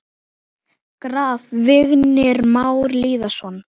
Graf: Vignir Már Lýðsson